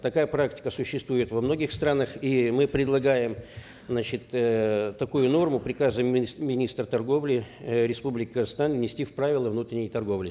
такая практика существует во многих странах и мы предлагаем значит эээ такую норму приказом министра торговли э республики казахстан внести в правила внутренней торговли